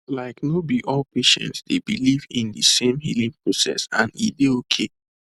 like no be all patients dey believe in de same healing process and e dey okay